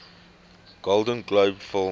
golden globe film